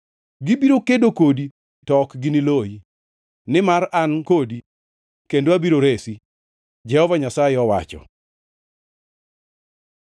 Gibiro kedo kodi to ok gini loyi, nimar an kodi kendo abiro resi,” Jehova Nyasaye owacho.